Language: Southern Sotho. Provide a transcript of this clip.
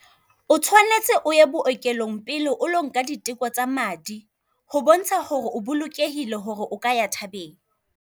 O tshwanetse o ye bookelong pele o lo nka diteko tsa madi ho bontsha hore o bolokehile hore o ka ya thabeng.